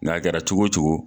N'a kɛra cogo o cogo.